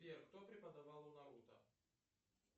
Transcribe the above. сбер кто преподавал у наруто